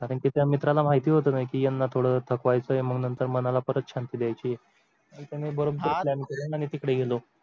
कारंकी त्या मित्राला माहिती होत की याना थोड थकवा येतोय म्हणून तर मनाला परत शांती द्यायची आणि त्यांनी बरोबर plan केला न आम्ही तिकडे गेलो